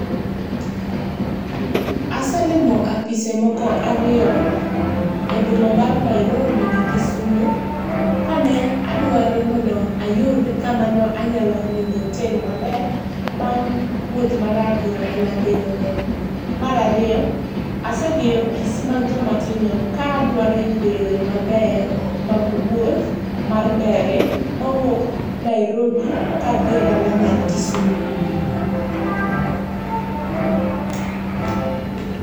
Aselimo apise moko ariyo e boma mar Nairobi gi Kisumu kane adwaro mondo ayud kama ne anyalo ninde e otel maber bang wuoth marabora mane abedo godo. Mar ariyo asedhi e apis mag joma tindo ka adwaro yudo yore mabeyo mag wuoth mar ndege mawuok Nairobi kadhie dala mar Kisumo